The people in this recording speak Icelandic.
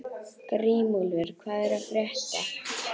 Grímúlfur, hvað er að frétta?